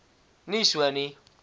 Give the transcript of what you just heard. nie so nie